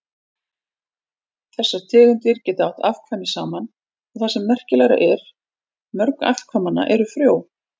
Þessar tegundir geta átt afkvæmi saman og það sem merkilegra er, mörg afkvæmanna eru frjó.